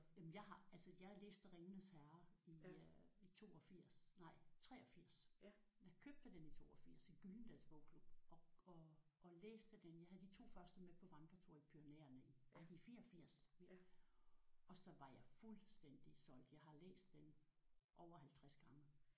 Jamen jeg har altså jeg læste Ringenes Herre i øh i 82 nej 83. Jeg købte dem i 82 i Gyldendals bogklub og og og læste dem jeg havde de 2 første med på vandretur i Pyrenæerne ej i 84. Og så var jeg fuldstændig solgt. Jeg har læst dem over 50 gange